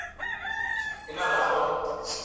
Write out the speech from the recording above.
Vinoda hello.